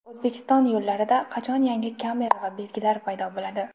O‘zbekiston yo‘llarida qachon yangi kamera va belgilar paydo bo‘ladi?.